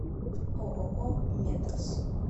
ооо медас